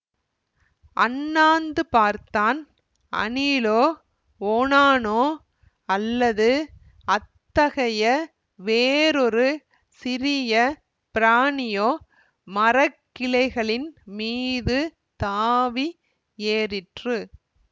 அண்ணாந்து பார்த்தான் அணிலோ ஓணானோ அல்லது அத்தகைய வேறொரு சிறிய பிராணியோ மரக்கிளைகளின் மீது தாவி ஏறிற்று